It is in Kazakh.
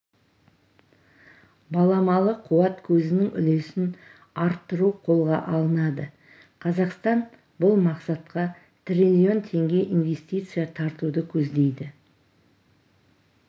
баламалы қуат көзінің үлесін арттыру қолға алынады қазақстан бұл мақсатқа трлн теңге инвестиция тартуды көздейді